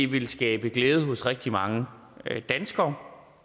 vil skabe glæde hos rigtig mange danskere